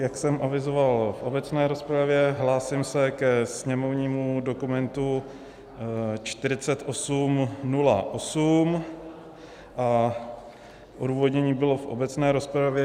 Jak jsem avizoval v obecné rozpravě, hlásím se ke sněmovnímu dokumentu 4808 a odůvodnění bylo v obecné rozpravě.